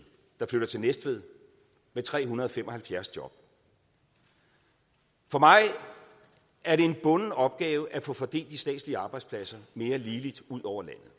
der flytter til næstved med tre hundrede og fem og halvfjerds job for mig er det en bunden opgave at få fordelt de statslige arbejdspladser mere ligeligt ud over landet